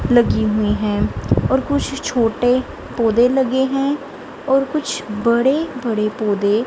लगी हुई है और कुछ छोटे पौधे लगे हैं और कुछ बड़े बड़े पौधे--